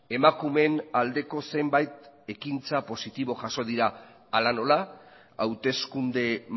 emakumeen aldeko zenbait ekintza positibo jaso dira hala nola hauteskunde